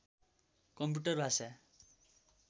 computer भाषा